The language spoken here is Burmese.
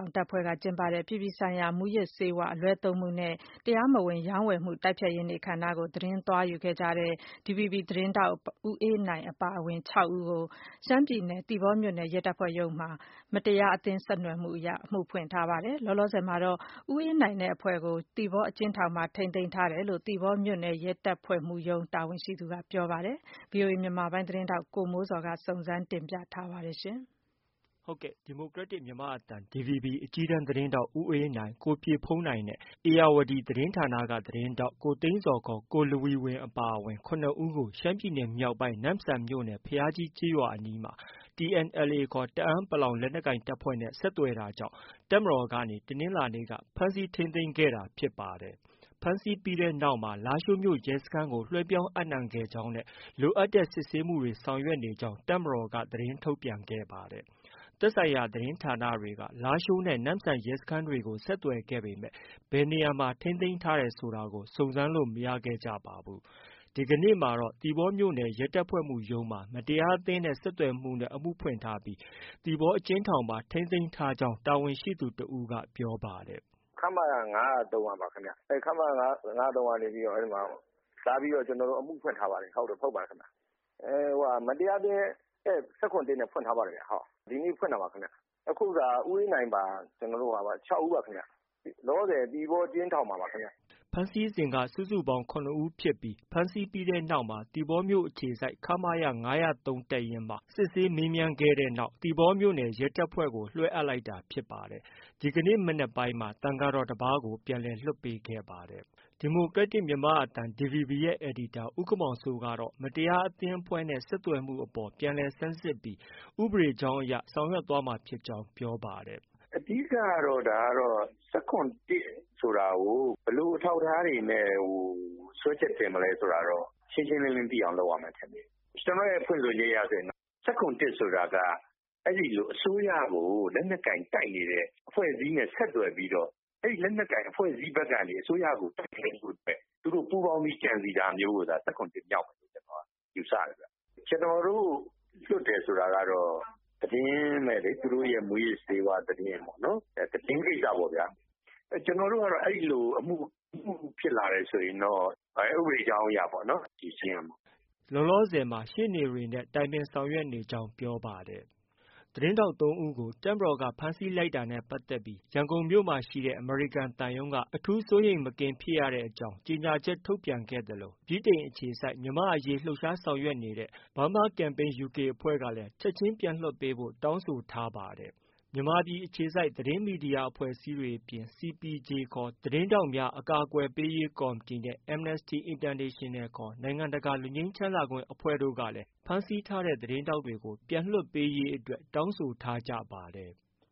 ာင်း တပ်ဖွဲ့ရဲ့ အပြည်ပြည်ဆိုင်ရာ မူးယစ်ဆေးဝါးအလွဲသုံးမှုနဲ့ တရားမဝင် ရောင်းဝယ်မှုတိုက်ဖျက်ရေးနေ့အခမ်းအနားကို သွားရောက်သတင်းယူခဲ့တဲ့ DVB သတင်းထောက် ဦးအေးနိုင်အပါ ၆ဦးကို ရှမ်းပြည်နယ် သီပေါမြို့နယ်ရဲတပ်ဖွဲ့မှုရုံးမှာ မတရားအသင်းနဲ့ ဆက်သွယ်မှု နဲ့ အမှုဖွင့်ထားပါတယ်။ လောလောဆယ်မှာတော့ ဦးအေးနိုင်နဲ့အဖွဲ့ကို သီပေါအကျဉ်းထောင်မှာ ထိန်းသိမ်းထားတယ်လို့ သီပေါမြို့နယ်ရဲတပ်ဖွဲ့မှုရုံးက တာဝန်ရှိသူက ပြောပါတယ်။ ဒီသတင်းကိုတော့ ဗွီအိုအေမြန်မာပိုင်းရဲ့သတင်းထောက် ကိုမိုးဇော်က တင်ပြထားပါတယ်။ ဒီမိုကရက်တစ် မြန်မာ့အသံ DVB အကြီးတန်းသတင်းထောက် ဦးအေးနိုင်၊ကိုပြည့်ဘုန်းနိုင် နဲ့ ဧရာဝတီ သတင်းဌာနသတင်းထောက် ကိုသိန်းဇော်ခေါ် ကိုလဝီဝမ်အပါအဝင် ၇ဦးကို ရှမ်းပြည်နယ်မြောက်ပိုင်း နမ့်ဆန်မြို့နယ် ဘုရားကြီးကျေးရွာအနီးမှာ TNLA ခေါ် တအာင်းပလောင်လက်နက်ကိုင်တပ်ဖွဲ့နဲ့ ဆက်သွယ်တာကြောင့် တပ်မတော်ကနေ တနင်္လာနေ့က ဖမ်းဆီးထိန်းသိမ်းခဲ့တာဖြစ်ပါတယ်။ ဖမ်းဆီးပြီးနောက်မှာ လားရှိုးမြို့နယ် ရဲစခန်းကို လွဲှပြောင်းအပ်နှံခဲ့ကြောင်းနဲ့ လိုအပ်တဲ့စစ်ဆေးမှုတွေ ဆောင်ရွက်နေကြောင်း တပ်မတော်က သတင်းထုတ်ပြန်ခဲ့ပါတယ်။ သက်ဆိုင်ရာသတင်းဌာနတွေက လားရှိုးနဲ့ နမ့်ဆန်ရဲစခန်းတွေကို ဆက်သွယ်ခဲ့ပေမဲ့ ဘယ်နေရာမှာ ထိန်းသိမ်းထားတယ်ဆိုတာ စုံစမ်းလို့ မရခဲ့ကြပါဘူး။ ဒီကနေ့မှာတော့ သီပေါမြို့နယ်ရဲတပ်ဖွဲ့မှုးရုံးမှာ မတရားအသင်းနဲ့ဆက်သွယ်မှုနဲ့ အမှုဖွင့်ထားပြီး သီပေါအကျဉ်းထောင်မှာ ထိန်းသိမ်းထားကြောင်း တာဝန်ရှိသူတဦးက ပြောပါတယ်။ “ခမရ ၅၀၃ ကပါခင်ဗျ၊ခမရ ၅၀၃ကနေပြီးတော့ ကျနော်တို့ကို လာပြီးတော့ အမှုဖွင့်ထားပါတယ်ခင်ဗျ။ မတရားအသင်း ၁၇/၁ နဲ့ ဖွင့်ထားပါတယ်ခင်ဗျ။ အခုက ဦးအေးနိုင် အပါ ၆ဦးပါခင်ဗျ ။ လောလောဆယ် သီပေါအကျဉ်းထောင်မှာပါခင်ဗျ။” ဖမ်းဆီးစဉ်က စုစုပေါင်း၇ဦးဖြစ်ပြီး ဖမ်းဆီးပြီးနောက်မှာ သီပေါမြို့အခြေစိုက် ခမရ ၅၀၃တပ်ရင်းမှာ စစ်ဆေးမေးမြန်းခဲ့တဲ့နောက် သီပေါမြို့နယ်ရဲတပ်ဖွဲ့ကို လွဲှအပ်လိုက်တာဖြစ်ပါတယ်။ ဒီကနေ့မနက်ပိုင်းမှာ သံဃာတော်တပါးကို ပြန်လည်လွှတ်ပေးခဲ့ပါတယ်။ ဒီမိုကရက်တစ် မြန်မာ့အသံ DVB ရဲ့ အယ်ဒီတာ ဦးခင်မောင်စိုးကတော့ မတရားအသင်းအဖွဲ့နဲ့ ဆက်သွယ်မှုအပေါ် ပြန်လည်ဆန်းစစ်ပြီး ဥပဒေကြောင်းအရ ဆောင်ရွက်သွားမှာဖြစ်ကြောင်း ပြောပါတယ်။ “အဓိကတော့ ဒါကတော့ ၁၇/၁ ဆိုတာကို ဘယ်လိုအထောက်အထားတွေနဲ့ စွဲချက်တင်မလဲဆိုတာကို ရှင်းရှင်းလင်းလင်းသိအောင်လုပ်ရမယ်ထင်တယ်။ ကျနေ်ာ့အမြင်ကတော့ ၁၇/၁ ဆိုတာက အစိုးရကို လက်နက်ကိုင်တိုက်နေတဲ့ အဖွဲ့အစည်းနဲ့ ဆက်သွယ်ပြီးတော့ လက်နက်ကိုင်အဖွဲ့အစည်းဘက်ကနေ အစိုးရကို ပူးပေါင်းပြီးကြံစည်တာမျိုးကို ၁၇/၁ မြောက်မယ်လို့ ယူဆတယ်ခင်ဗျ။ ကျနော်တို့လွှတ်တယ်ဆိုတာကတော့ သတင်းပဲလေ၊ သူတို့မူးယစ်ဆေးဝါး သတင်းကိစ္စပေ့ါခင်ဗျ။ ကျနော်တို့ကတော့ အဲဒီလို အမှုဖြစ်လာတယ်ဆိုရင်တော့ ဥပဒေကြောင်းအရ ဖြေရှင်းရမှာပဲ။” လောလောဆည်မှာ ရှေ့နေတွေနဲ့ တိုင်ပင်ဆောင်ရွက်နေကြောင်း ပြောပါတယ်။ သတင်းထောက် ၃ ဦးကို တပ်မတော်က ဖမ်းဆီးလိုက်တာနဲ့ ပတ်သက်လို့ ရန်ကုန်မှာရှိတဲ့ အမေရိကန် သံရုံးက အထူးစိုးရိမ်မကင်း ဖြစ်ရတဲ့အကြောင်း ကြေညာချက် ထုတ်ပြန်ခဲ့သလို ဗြိတိန်အခြေစိုက် မြန်မာ့အရေး လှုပ်ရှားဆောင်ရွက်နေတဲ့ အဖွဲ့ဖြစ်တဲ့ Burma Campaign UK ချက်ခြင်း ပြန်လွတ်ပေးဖို့ တောင်းဆို လိုက်ပါတယ်။ မြန်မာပြည်အခြေစိုက်သတင်းမီဒီယာအဖွဲ့အစည်းတွေအပြင် CPJ ခေါ် သတင်းထောက်များ အကာကွယ်ပေးရေး ကော်မီတီနဲ့ Amnesty International နိုင်ငံတကာ လွတ်ငြိမ်းချမ်းသာခွင့် အဖွဲ့ကြီးတို့ကလည်း ဖမ်းဆီးခံထားရတဲ့ သတင်းထောက်တွေ ပြန်လွတ်ပေးရေးအတွက် တောင်းဆိုထားကြပါတယ်။